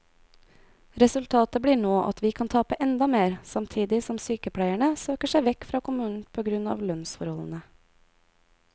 Resultatet blir nå at vi kan tape enda mer, samtidig som sykepleierne søker seg vekk fra kommunen på grunn av lønnsforholdene.